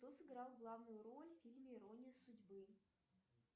кто сыграл главную роль в фильме ирония судьбы